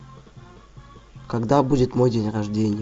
когда будет мой день рождения